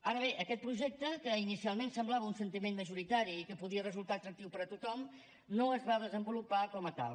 ara bé aquest projecte que inicialment semblava un sentiment majoritari i que podia resultar atractiu per a tothom no es va desenvolupar com a tal